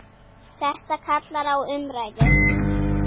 Þetta kallar á umræðu.